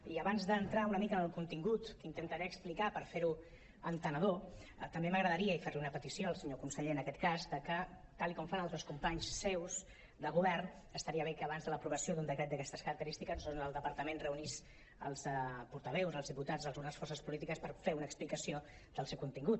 i abans d’entrar una mica en el contingut que intentaré explicar per fer·lo entenedor també m’agradaria fer·li una petició al senyor conseller en aquest cas que tal com fan altres companys seus de govern estaria bé que abans de l’aprovació d’un decret d’aquestes característi·ques doncs el departament reunís els portaveus els diputats reunís les forces po·lítiques per fer una explicació dels seu contingut